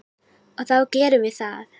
Og þá gerum við það.